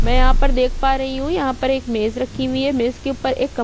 में यहाँ पर देख पा रही हु यहाँ पर एक मज़े रखी हुई है मज़े के ऊपर एक कपड़ा--